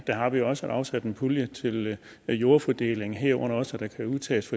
har vi også afsat en pulje til jordfordeling herunder også at der kan udtages